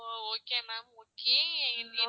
O okay ma'am okay